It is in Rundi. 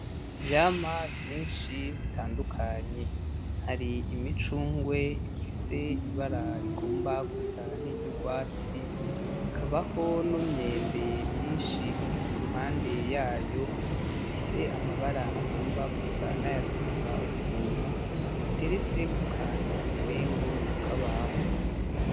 Ivyamwa vyinshi bitandukanye, hari imicungwe ifise ibara rigomba gusa n'iryurwatsi, hakabaho n'imyembe myinshi iri kuruhande yayo ifise amabara agomba gusa nay'atukura ukuntu ateretse kukantu umengo nakabaho.